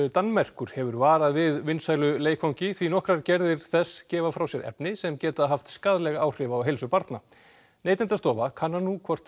Danmerkur hefur varað við vinsælu leikfangi því nokkrar gerðir þess gefa frá sér efni sem geta haft skaðleg áhrif á heilsu barna Neytendastofa kannar nú hvort